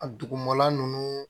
A dugumana nunnu